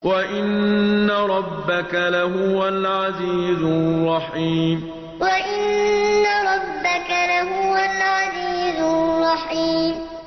وَإِنَّ رَبَّكَ لَهُوَ الْعَزِيزُ الرَّحِيمُ وَإِنَّ رَبَّكَ لَهُوَ الْعَزِيزُ الرَّحِيمُ